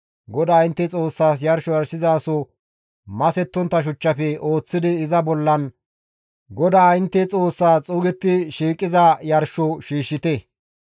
GODAA intte Xoossaas yarsho yarshizaso masettontta shuchchafe ooththidi iza bollan GODAA intte Xoossaas xuugetti shiiqiza yarsho shiishshite.